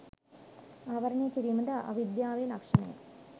ආවරණය කිරීම ද අවිද්‍යාවේ ලක්‍ෂණයයි.